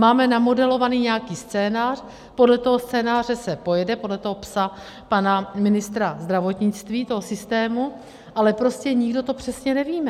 Máme namodelovaný nějaký scénář, podle toho scénáře se pojede, podle toho PES pana ministra zdravotnictví, toho systému, ale prostě to nikdo přesně nevíme.